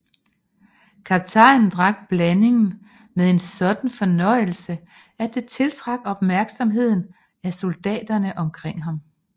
Kaptajnen drak blandingen med en sådan fornøjelse at det tiltrak opmærksomheden af soldaterne omkring ham